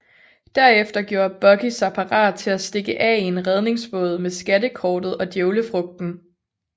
Derefter gjorde Buggy sig parat til at stikke af i en redningsbåd med skattekortet og djævlefrugten